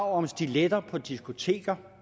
om stiletter på diskoteker